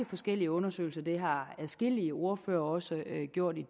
forskellige undersøgelser og det har adskillige ordførere også gjort i